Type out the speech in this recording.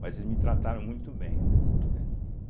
Mas eles me trataram muito bem, né, entende.